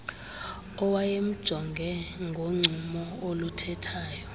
owayemjonge ngoncumo oluthethayo